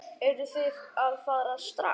Eruð þið að fara strax?